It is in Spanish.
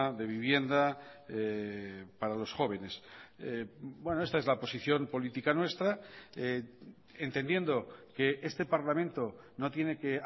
de vivienda para los jóvenes esta es la posición política nuestra entendiendo que este parlamento no tiene que